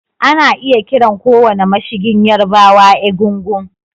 Ana iya kiran kowane mashigin Yarbawa Egungun